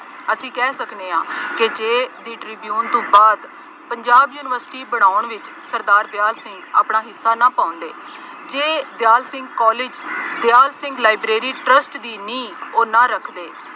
ਅਸੀਂ ਕਹਿ ਸਕਦੇ ਹਾਂ ਕਿ ਜੇ The Tribune ਤੋਂ ਬਾਅਦ ਪੰਜਾਬ ਯੂਨੀਵਰਸਿਟੀ ਪੜ੍ਹਾਉਣ ਵਿੱਚ ਸਰਦਾਰ ਦਿਆਲ ਸਿੰਘ ਆਪਣਾ ਹਿੱਸਾ ਨਾ ਪਾਉਂਦੇ, ਜੇ Dyal Singh College, Dyal Singh Library Trust ਦੀ ਨੀਂਹ, ਉਹ ਨਾ ਰੱਖਦੇ,